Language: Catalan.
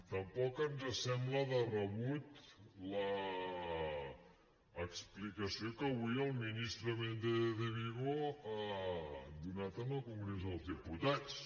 tampoc ens sembla de rebut l’explicació que avui el ministre méndez de vigo ha donat en el congrés dels diputats